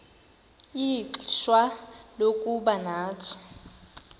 ixfsha lokuba nathi